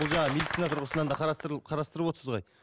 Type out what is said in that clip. бұл жаңағы медицина тұрғысынан да қарастырып отырсыз ғой